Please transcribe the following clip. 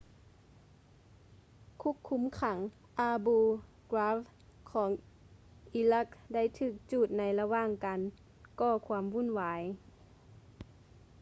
ຄຸກຄຸມຂັງ abu ghraib ຂອງອີຣັກໄດ້ຖືກຈູດໃນລະຫວ່າງການກໍຄວາມວຸ້ນວາຍ